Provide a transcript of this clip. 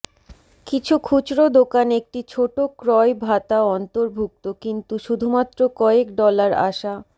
কিছু খুচরো দোকান একটি ছোট ক্রয় ভাতা অন্তর্ভুক্ত কিন্তু শুধুমাত্র কয়েক ডলার আশা